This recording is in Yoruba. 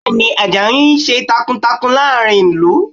Bẹ́ẹ̀ ni, Àjàyí ń ṣiṣẹ́ takuntakun láàrin ìlú